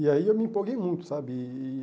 E aí eu me empolguei muito, sabe? E